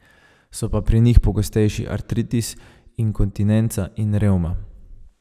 So pa pri njih pogostejši artritis, inkontinenca in revma.